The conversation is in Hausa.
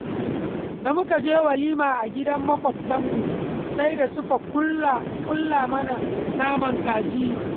Da muka je walima a gidan Maƙwabtanmu, sai da suka ƙullo mana naman kaji.